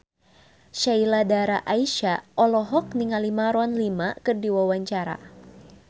Sheila Dara Aisha olohok ningali Maroon 5 keur diwawancara